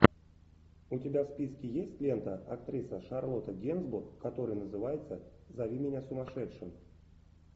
у тебя в списке есть лента актриса шарлотта генсбур которая называется зови меня сумасшедшим